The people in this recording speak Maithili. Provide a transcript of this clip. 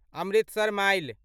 अमृतसर माइल